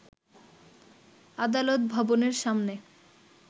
আদালত ভবনের সামনের